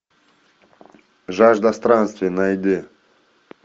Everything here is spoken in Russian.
жажда странствий найди